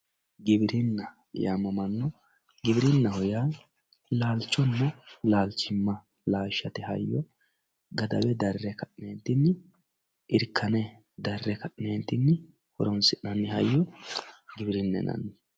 Giwirinna yaamamanno, giworinaho yaa laalichonna lalichima laashatte hayyo gadawe darre ka'nentinni irikane dare ka'neentinni horonsinanni hayyo giwirinna yinanni